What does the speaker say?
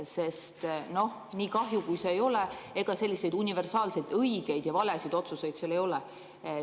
Sest noh, nii kahju kui ka ei ole, ega selliseid universaalselt õigeid ja valesid otsuseid seal ei ole.